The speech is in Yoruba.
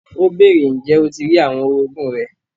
Ó bèèrè, ǹjẹ́ o ti rí àwọn orogún rẹ?